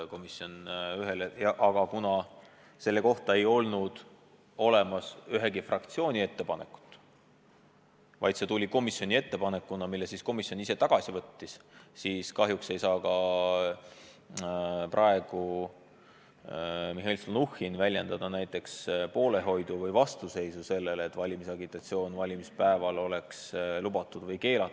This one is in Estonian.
Aga kuna selle kohta ei olnud ühegi fraktsiooni ettepanekut, vaid see tuli komisjoni ettepanekuna, mille komisjon ise tagasi võttis, siis kahjuks ei saa ka Mihhail Stalnuhhin praegu väljendada ei poolehoidu ega vastuseisu sellele, kas valimisagitatsioon on valimispäeval lubatud või keelatud.